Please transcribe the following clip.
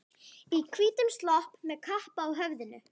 Í hvítum slopp og með kappa á höfðinu.